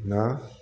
Na